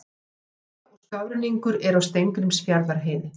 Snjóþekja og skafrenningur er á Steingrímsfjarðarheiði